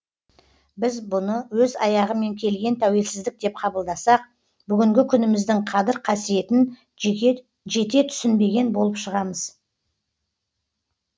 біз бұны өз аяғымен келген тәуелсіздік деп қабылдасақ бүгінгі күніміздің қадір қасиетін жете түсінбеген болып шығамыз